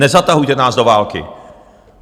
Nezatahujte nás do války!